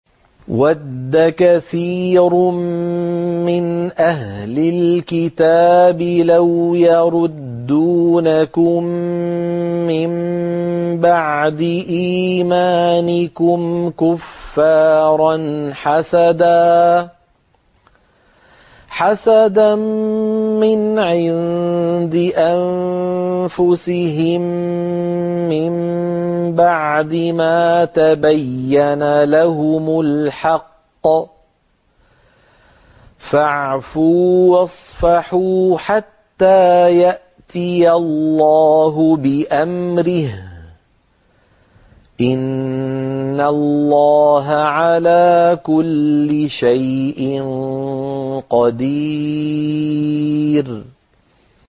وَدَّ كَثِيرٌ مِّنْ أَهْلِ الْكِتَابِ لَوْ يَرُدُّونَكُم مِّن بَعْدِ إِيمَانِكُمْ كُفَّارًا حَسَدًا مِّنْ عِندِ أَنفُسِهِم مِّن بَعْدِ مَا تَبَيَّنَ لَهُمُ الْحَقُّ ۖ فَاعْفُوا وَاصْفَحُوا حَتَّىٰ يَأْتِيَ اللَّهُ بِأَمْرِهِ ۗ إِنَّ اللَّهَ عَلَىٰ كُلِّ شَيْءٍ قَدِيرٌ